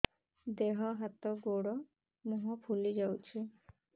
ଦେହ ହାତ ଗୋଡୋ ମୁହଁ ଫୁଲି ଯାଉଛି